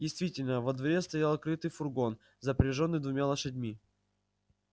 действительно во дворе стоял крытый фургон запряжённый двумя лошадьми